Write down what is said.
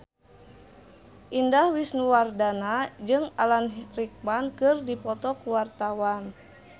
Indah Wisnuwardana jeung Alan Rickman keur dipoto ku wartawan